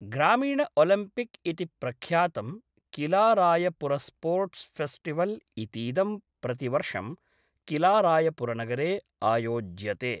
ग्रामीण ओलिम्पिक् इति प्रख्यातं किलारायपुरस्पोर्ट्स् फ़ेस्टिवल् इतीदं प्रतिवर्षं किलारायपुरनगरे आयोज्यते।